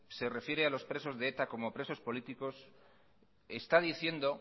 se refiere a los presos de eta como presos políticos está diciendo